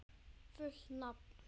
Fullt nafn?